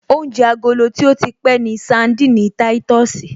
Oúnjẹ agolo tí ó ti pẹ́ ni sandini táìtọ̀sì